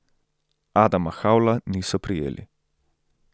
Adama Havla niso prijeli.